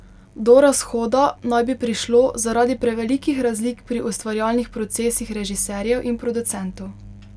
Do razhoda naj bi prišlo zaradi prevelikih razlik pri ustvarjalnih procesih režiserjev in producentov.